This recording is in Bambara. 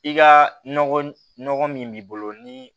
I ka nɔgɔ min b'i bolo ni